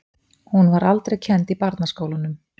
Hún var aldrei kennd í barnaskólunum.